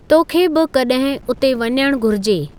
तोखे बि कॾहिं उते वञणु घुरिजे।